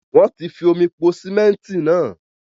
Wọ́n ti fi omi po síméntì náà